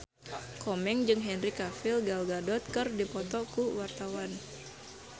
Komeng jeung Henry Cavill Gal Gadot keur dipoto ku wartawan